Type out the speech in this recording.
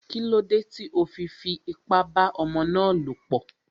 Kílódé tí o fi fi ipá bá ọmọ ná lọ̀ pọ̀?